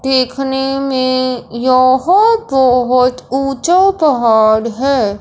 देखने में यह बहोत ऊंचा पहाड़ है।